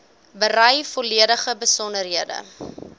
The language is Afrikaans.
berei volledige besonderhede